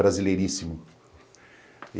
Brasileiríssimo.